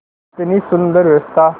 कितनी सुंदर व्यवस्था